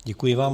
Děkuji vám.